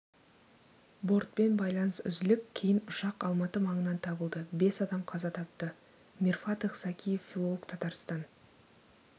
бортпен байланыс үзіліп кейін ұшақ алматы маңынан табылды бес адам қаза тапты мирфатых закиев филолог татарстан